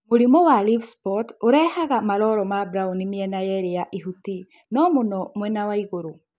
Mũrimũ wa leaf spot ũrehage malolo ma braũni mĩena yeli ya ihuti no mũno mwena wa igũrũ